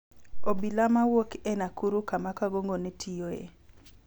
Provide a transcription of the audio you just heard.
Obila mawuok e Nakuru kama Kangogo ne tiyoe